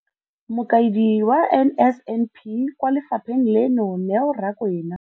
Mokaedi wa NSNP kwa lefapheng leno, Neo Rakwena.